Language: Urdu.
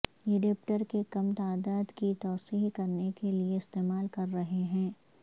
یڈیپٹر کے کم تعدد کی توسیع کرنے کے لئے استعمال کر رہے ہیں